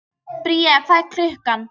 Bría, hvað er klukkan?